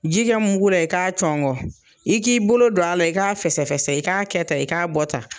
Ji kɛ muku la i k'a cɔgɔn, i k'i bolo don a la, i k'a fɛsɛfɛsɛ, i k'a kɛ tan i k'a bɔ tan.